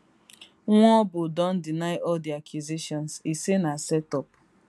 nwaobu don deny all di accusations e say na set up